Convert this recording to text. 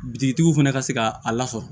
Bitigiw fana ka se ka a lasɔrɔ